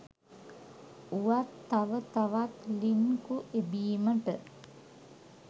වුවත් තව තවත් ලින්කු එබීමට